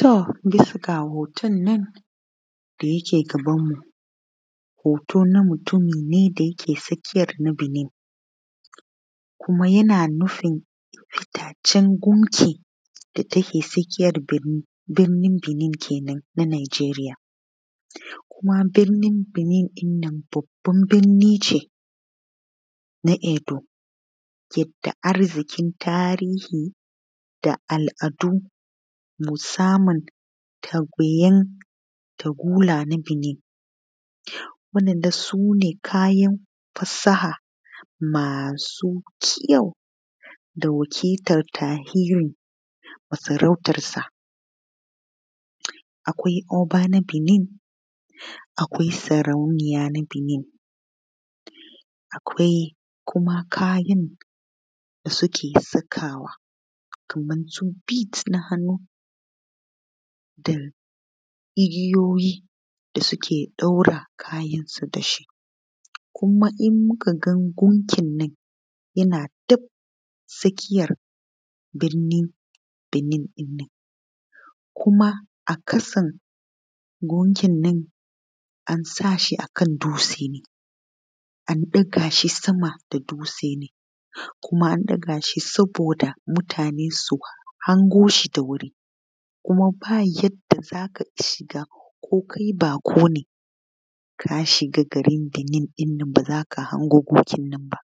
To, digga hotonnan da yake gabanmu hoto na mutum ne da yake tsakiyan na Benin kuma yana nufin fitaccen gunki da take tsakiyan birni Benin kenan na Najeriya kuma birnin Binin ɗin nan babban birni ne na Edo yanda arziƙin tarihi da al’adu ke samun birnan takula na Benin waɗannan sune kayan fasaha masu kyau da wakiltan tarihi. M asarautansa akwai Oba na Benin akwai sarauniyan, akwai kuma kayan da suke sakawa makamancin bit na hannu, ake sakawa da igiyoyi da suke ɗaure kayansu da shi kuma in muka ga gunkinnan yana gab tsakiyan birnin Benin kuma a ƙasan gunkinnan an sa shi akan dutse an ɗaga shi sama da dutse ne kuma an ɗaga shi saboda mutane su hangoshi da wuri kuma ba yadda za ka shiga ko kai baƙo ne ka shiga garin Benin ba za ka hango gunkin nan ba